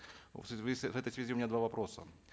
в этой связи у меня два вопроса